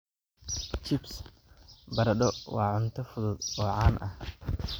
Chips baradho waa cunto fudud oo caan ah.